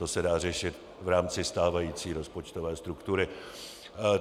To se dá řešit v rámci stávající rozpočtové struktury.